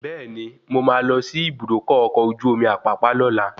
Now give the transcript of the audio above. Bẹẹni, mo máa lọ sí Ibùdókọ̀ ọkọ̀ ojú omi Apapa lóla